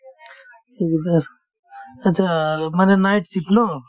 achcha আৰ্ মানে night shift ন